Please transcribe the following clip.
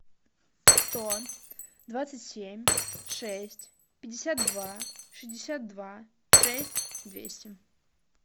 сто двадцать семь шесть пятьдесят два шестьдесят два шесть двести